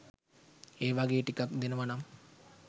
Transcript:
ඒ වගේ ටිකක් දෙනවනම්